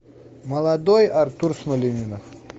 молодой артур смольянинов